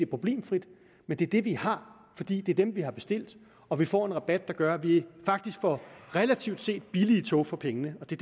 problemfrit men det er det vi har fordi det er dem vi har bestilt og vi får en rabat der gør at vi faktisk får relativt set billige tog for pengene og det